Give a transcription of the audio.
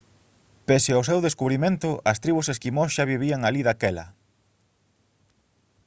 pese ao seu descubrimento as tribos esquimós xa vivían alí daquela